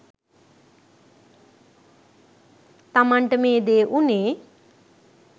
තමන්ට මේ දේ වුනේ